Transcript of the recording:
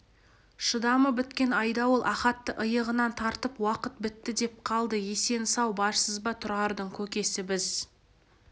шыдамы біткен айдауыл ахатты иығынан тартып уақыт бітті деп қалды есен-сау барсыз ба тұрардың көкесі біз